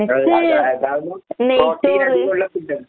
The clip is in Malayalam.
അത് അത് അതാവുമ്പം പ്രോട്ടീൻ അധികോള്ള ഫുഡാണ്.